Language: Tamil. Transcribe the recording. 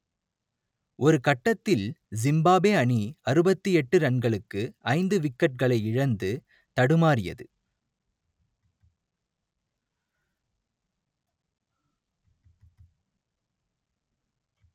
ஒரு கட்டத்தில் ஜிம்பாப்வே அணி அறுபத்தி எட்டு ரன்களுக்கு ஐந்து விக்கெட்டுகளை இழந்து தடுமாறியது